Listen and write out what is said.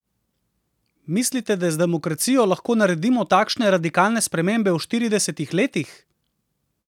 Mislite, da z demokracijo lahko naredimo takšne radikalne spremembe v štiridesetih letih?